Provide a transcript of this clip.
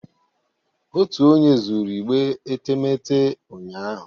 Otu onye zuru igbe etemeete ụnyahụ